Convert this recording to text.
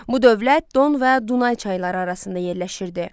Bu dövlət Don və Dunay çayları arasında yerləşirdi.